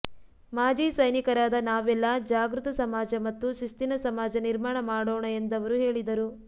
ಮಾಜಿ ಸೈನಿಕರಾದ ನಾವೆಲ್ಲ ಜಾಗೃತ ಸಮಾಜ ಮತ್ತು ಶಿಸ್ತಿನ ಸಮಾಜ ನಿರ್ಮಾಣ ಮಾಡೋಣ ಎಂದವರು ಹೇಳಿದರು